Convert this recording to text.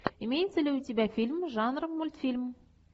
имеется ли у тебя фильм жанра мультфильм